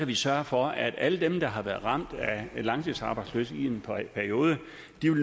vi sørge for at alle dem der har været ramt af langtidsarbejdsløshed i en periode